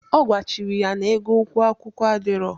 Ọ gwachiri ya na ego ụgwo akwụkwụ adiro.